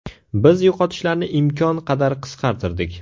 Biz yo‘qotishlarni imkon qadar qisqartirdik.